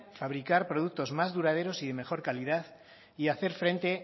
fabricar productos más duraderos y de mejor calidad y hacer frente